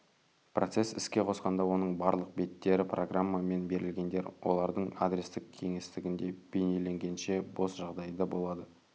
процесс іске қосқанда оның барлық беттері программа мен берілгендер олардың адрестік кеңістігінде бейнеленгенше бос жағдайда болады